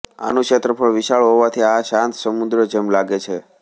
આનું ક્ષેત્રફળ વિશાળ હોવાથી આ શાંત સમુદ્ર જેમ લાગે છે